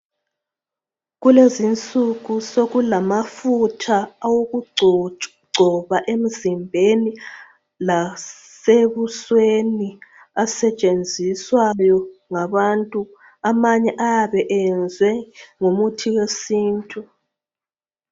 Kulezi insuku sokulamafutha awokugcoba emzimbeni lasebusweni asetshenziswayo ngabantu. Amanye ayabe eyenzwe ngomuthi wesintu.